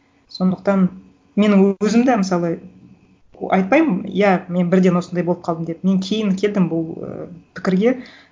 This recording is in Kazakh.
сондықтан менің өзім де мысалы айтпаймын иә мен бірден осындай болып қалдым деп мен кейін келдім бұл ы пікірге